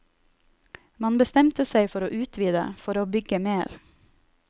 Man bestemte seg for å utvide, for å bygge mer.